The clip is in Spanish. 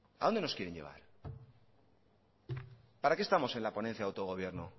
a dónde nos quieren llevar para qué estamos en la ponencia de autogobierno